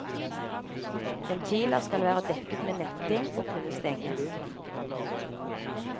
Ventiler skal være dekket med netting og kunne stenges.